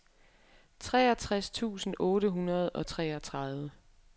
treogtres tusind otte hundrede og treogtredive